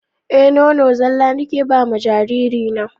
Eh nono zala nike bama jariri na.